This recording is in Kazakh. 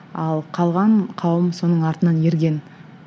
ал қалған қауым соның артынан ерген